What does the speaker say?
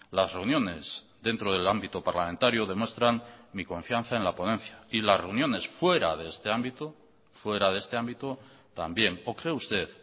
las reuniones dentro del ámbito parlamentario demuestran mi confianza en la ponencia y las reuniones fuera de este ámbito fuera de este ámbito también o cree usted